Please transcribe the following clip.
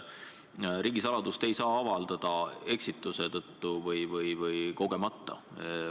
Riigisaladust ei saa avaldada eksituse tõttu või kogemata.